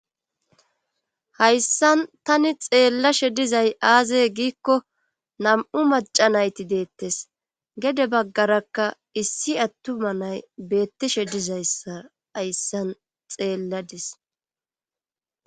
Hayssan tani xeellashe dizay aazey giikko nam,u maca nayti deettes gede baggarakka issi attuma nay beettishe dizayssa hayssan xeelladis.